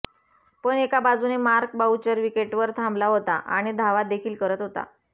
पण एका बाजूने मार्क बाउचर विकेटवर थांबला होता आणि धावा देखील करत होता